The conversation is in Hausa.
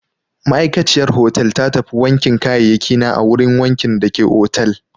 Ma'aikaciyar hotel ta tafi wankin kayayyakina a wurin wankin dake otal.